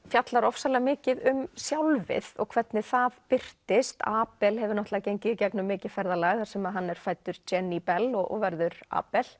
fjallar ofsalega mikið um sjálfið og hvernig það birtist abel hefur náttúrulega gengið í gegnum mikið ferðalag þar sem hann er fæddur Jenny Bell og verður